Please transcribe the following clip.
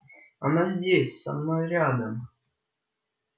она здесь она рядом